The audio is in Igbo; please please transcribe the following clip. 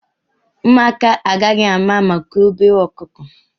Ụmụaka agaghị ama maka obere ọkụkọ.